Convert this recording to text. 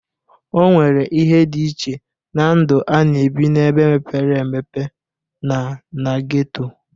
O nwere ihe dị iche na ndu a na-ebi n'ebe mepere emepe na na geto.